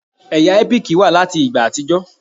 Ẹ̀yà ẹ́píìkì wà láti ìgbà àtijọ́.